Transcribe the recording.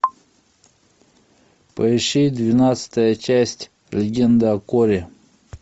поищи двенадцатая часть легенда о корре